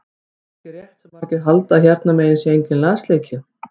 Það er ekki rétt sem margir halda að hérna megin sé enginn lasleiki.